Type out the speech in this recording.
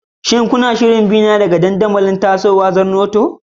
Shin kuna shirin bina akan dandamali masu tasowa kamar Zornoto?